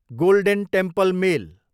golden Temple mail